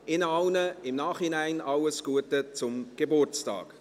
Ihnen allen im Nachhinein alles Gute zum Geburtstag.